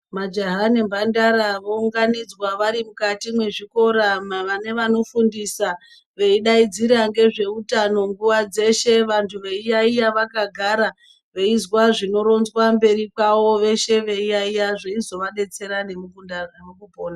Majaha ne mandara vo unganidzwa vari mukati me zvikora vane vanofundisa veidadzira ngezve utano nguva dzeshe vantu veyi yayiya vaka gara veizwa zvinoronzwa mberi kwavo veshe veyi yayiya zveizova detsera ne mukupona.